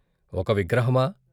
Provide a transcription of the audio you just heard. ఒక విగ్రహమా?